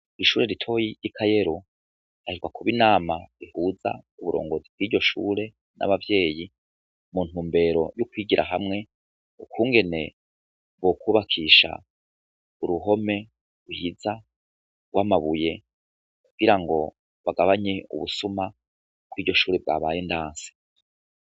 Ishure ritoyi ry'i kayero ahejwa kuba inama bihuza u burongozi bw'iryo shure n'abavyeyi muntu mbero y'ukwigira hamwe ukungene bokwubakisha uruhome uhiza w amabuye kugira ngo bagabanye ubusuma bw'iryo shure bwabanye ndanfe.